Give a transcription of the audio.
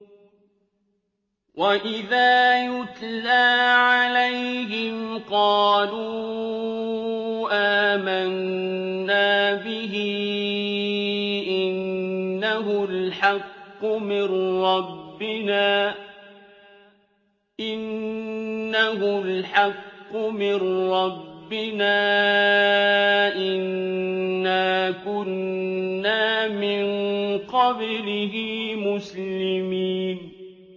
وَإِذَا يُتْلَىٰ عَلَيْهِمْ قَالُوا آمَنَّا بِهِ إِنَّهُ الْحَقُّ مِن رَّبِّنَا إِنَّا كُنَّا مِن قَبْلِهِ مُسْلِمِينَ